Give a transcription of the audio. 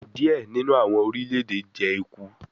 Diẹ ninu awọn orilẹ-ede jẹ eku